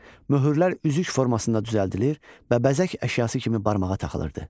Möhürlər üzük formasında düzəldilir və bəzək əşyası kimi barmağa taxılırdı.